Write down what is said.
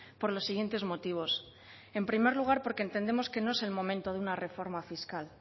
por los siguientes motivos en primer lugar porque entendemos que no es el momento de una reforma fiscal